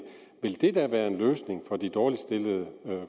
ville det da være en løsning for de dårligst stillede